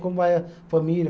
Como vai a família?